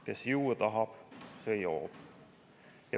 Kes juua tahab, see joob.